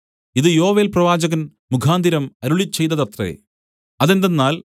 ഇത് യോവേൽ പ്രവാചകൻമുഖാന്തരം അരുളിച്ചെയ്തതത്രേ അതെന്തെന്നാൽ